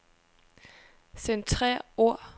Centrer ord.